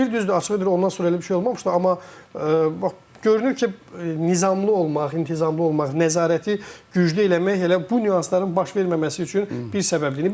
Deyir düzdür, açığı deyim ondan sonra elə bir şey olmamışdı, amma bax görünür ki, nizamlı olmaq, intizamlı olmaq, nəzarəti güclü eləmək elə bu nüansların baş verməməsi üçün bir səbəbdir.